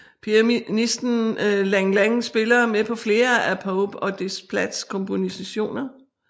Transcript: Pianisten Lang Lang spiller med på flere af Pope og Desplats kompositioner